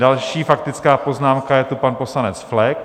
Další faktická poznámka je tu, pan poslanec Flek.